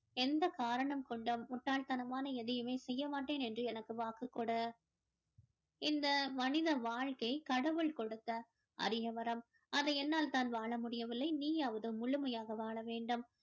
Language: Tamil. எந்த காரணம் கொண்டும் முட்டாள் தனமான எதையுமே செய்ய மாட்டேன் என்று எனக்கு வாக்கு கொடு இந்த மனித வாழ்க்கை கடவுள் கொடுத்த அரிய வரம் அதை என்னால் தான் வாழ முடியவில்லை நீயாவது முழுமையாக வாழ வேண்டும்